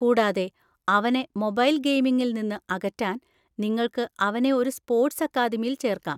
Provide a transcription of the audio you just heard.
കൂടാതെ, അവനെ മൊബൈൽ ഗെയിമിംഗിൽ നിന്ന് അകറ്റാൻ, നിങ്ങൾക്ക് അവനെ ഒരു സ്പോർട്സ് അക്കാദമിയിൽ ചേർക്കാം.